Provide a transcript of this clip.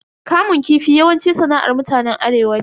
Kamun kifi yawanci sana'ar mutanen arewa ne.